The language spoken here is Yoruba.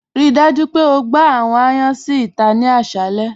Ríí dájú pé ó gbà àwọn ayàn si íta ni àṣàlẹ̀.